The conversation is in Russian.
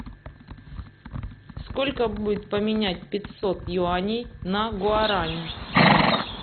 сколько будет поменять пятьсот юаней на гуарани